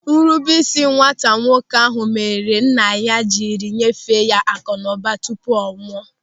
Nrubeisi nwata nwoke ahụ mere nna ya jiri nyefee ya akụnụba tupu ọ nwụọ.